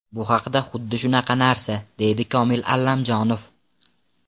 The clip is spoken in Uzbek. Bu ham xuddi shunaqa narsa”, deydi Komil Allamjonov.